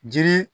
Jiri